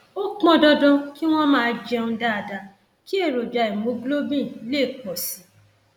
ó pọn dandan kí wọn máa jẹun dáadáa kí èròjà hemoglobin lè pọ sí i